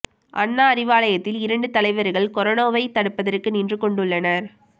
அண்ணா அறிவாலயத்தில் இரண்டு தலைவர்கள் கொரோனாவை தடுப்பதற்கு நின்று கொண்டு ள்ளனர்